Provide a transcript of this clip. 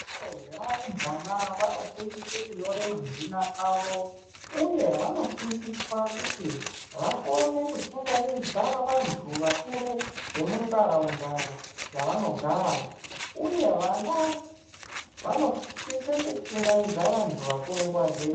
Azvevarumbwana vanofundiswa kunyora mazina avo. uye vanofundiswa kuti vakone kuchingamidza vantu vakuru vemuntaraunda dzavanogara, uye vana vanosise kuchingamidza vantu vakuru nguva dzeshe.